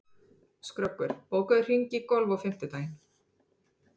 Skröggur, bókaðu hring í golf á fimmtudaginn.